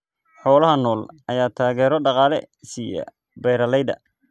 Xoolaha nool ayaa taageero dhaqaale siiya beeralayda.